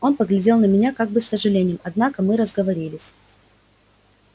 он поглядел на меня как бы с сожалением однако мы разговорились